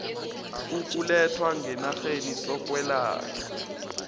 ukulethwa ngenarheni sokwelatjhwa